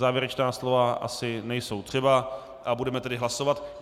Závěrečná slova asi nejsou třeba a budeme tedy hlasovat.